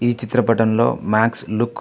ఈ చిత్రపటం లో మ్యాక్స్ లుక్ --